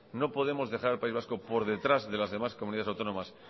no podemos dejar al país vasco por detrás de las demás comunidades autónomas